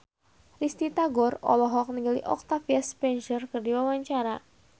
Risty Tagor olohok ningali Octavia Spencer keur diwawancara